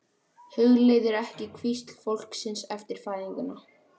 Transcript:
Hugleiðir ekki hvísl fólksins eftir fæðinguna.